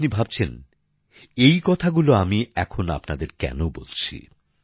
আপনি ভাবছেন এই কথাগুলো আমি এখন আপনাদের কেন বলছি